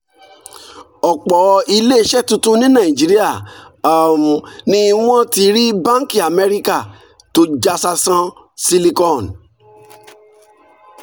ọ̀pọ̀ ilé iṣẹ́ tuntun ní nàìjíríà um ni wọ́n ti rí báńkì amẹ́ríkà tó já sásán silicon